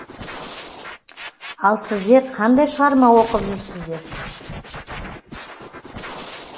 ал сіздер қандай шығарма оқып жүрсіздер